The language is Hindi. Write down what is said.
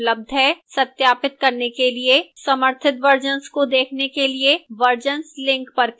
सत्यापित करने के लिए समर्थित versions को देखने के लिए versions link पर click करें